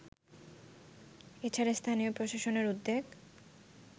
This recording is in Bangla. এছাড়া স্থানীয় প্রশাসনের উদ্যোগ